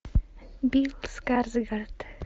билл скарсгард